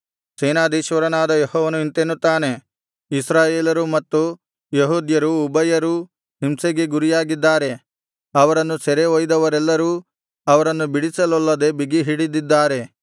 ಸೇನಾಧೀಶ್ವರನಾದ ಯೆಹೋವನು ಇಂತೆನ್ನುತ್ತಾನೆ ಇಸ್ರಾಯೇಲರು ಮತ್ತು ಯೆಹೂದ್ಯರು ಉಭಯರೂ ಹಿಂಸೆಗೆ ಗುರಿಯಾಗಿದ್ದಾರೆ ಅವರನ್ನು ಸೆರೆ ಒಯ್ದವರೆಲ್ಲರೂ ಅವರನ್ನು ಬಿಡಿಸಲೊಲ್ಲದೆ ಬಿಗಿಹಿಡಿದಿದ್ದಾರೆ